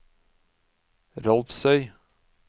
Rolvsøy